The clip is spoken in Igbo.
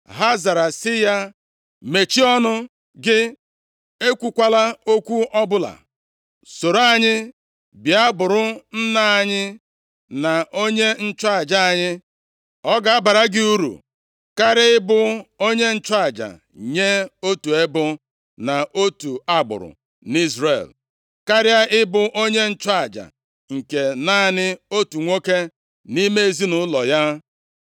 Ha zara sị ya, “Mechie ọnụ gị! Ekwukwala okwu ọbụla. Soro anyị bịa bụrụ nna anyị na onye nchụaja anyị. Ọ ga-abara gị uru karịa ịbụ onye nchụaja nye otu ebo na otu agbụrụ nʼIzrel, karịa ịbụ onye nchụaja nke naanị otu nwoke nʼime ezinaụlọ ya.”